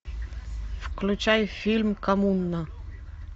включай фильм коммуна